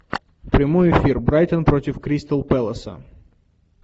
прямой эфир брайтон против кристал пэласа